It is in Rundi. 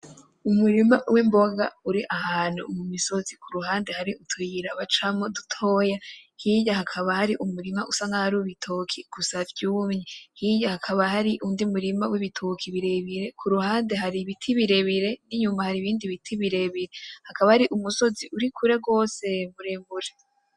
Umurima w'imboga uri ahantu mu misozi kuruhande hari utuyira bacamwo dutoya, hirya hakaba hari umurima usa nkaho ar'uwibitoke gusa vyumye, hirya hakaba hari undi murima w'ibitoki birebire kuruhande hari ibiti birebire n'inyuma hari ibindi biti birebire hakaba hari umusozi uri kure gwose muremure.